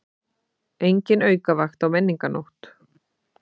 Engin aukavakt á Menningarnótt